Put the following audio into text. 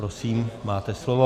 Prosím, máte slovo.